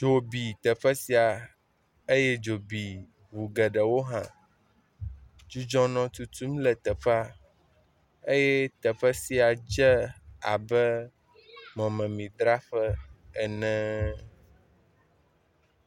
Dzo bi teƒe sia eye dzo bi ŋu geɖewo hã. Dzudzɔ nɔ tutum le teƒea eye teƒe sia dze abe mɔmemidzraƒe ene.